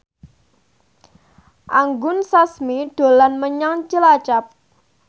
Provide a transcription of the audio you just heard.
Anggun Sasmi dolan menyang Cilacap